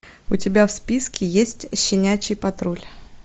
у тебя в списке есть щенячий патруль